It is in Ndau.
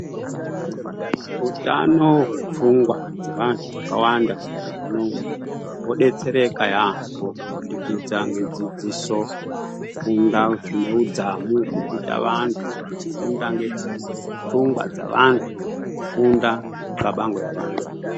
Utano hwepfungwa dzevanhu vakawanda munyika munomu, hwobetsereka yaamho kubudikidza ngedzidziso, kufunda zvine hudzamu zvirikuta vanhu vanofunda ngepfungwa dzevantu kufunda xabange yevantu.